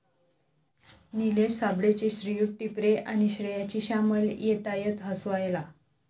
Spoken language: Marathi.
निलेश साबळेचे 'श्रीयुत टिपरे' आणि श्रेयाची 'श्यामल' येतायत हसवायला